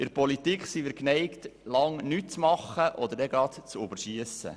In der Politik sind wir geneigt, lange nichts zu tun oder sofort zu überschiessen.